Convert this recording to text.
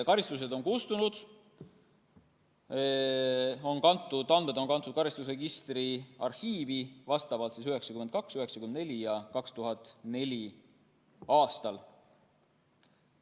Karistused on kustunud, andmed on kantud karistusregistri arhiivi vastavalt 1992., 1994. ja 2004. aastal.